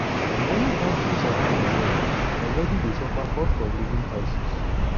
many kontris around di world already dey suffer cost of living crisis.